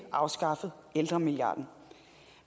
afskaffet ældremilliarden